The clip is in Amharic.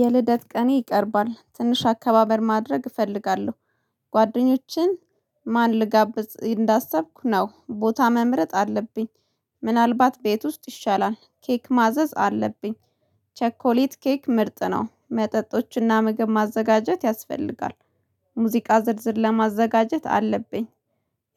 የልደት ቀኔ ቀርባል ትንሽ አከባበር ማድረግ እፈልጋለሁ። ጓደኞችን ማንን ልጋብዝ እያሰብኩ ነው ቦታ መምረጥ አለብኝ። ምናልባት ቤት ውስጥ ይሻላል ኬክ ማዘዝ አለብኝ። ቸኮሌት ኬክ ምርጥ ነው መጠጦችና ምግብ ማዘጋጀት ያስፈልጋል። ሙዚቃ ዝርዝር ማዘጋጀት አለብኝ።